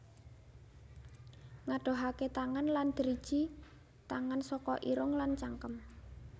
Ngadohaké tangan lan driji tangan saka irung lan cangkem